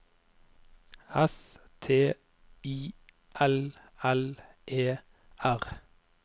S T I L L E R